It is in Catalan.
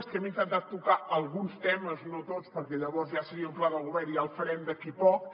que hem intentat tocar alguns temes no tots perquè llavors ja seria un pla de govern i ja el farem d’aquí a poc